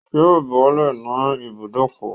Yóò bọ́lẹ̀ ní ibùbókọ̀